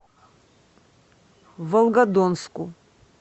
волгодонску